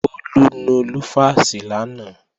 Bólú nu lúfàsì lánàá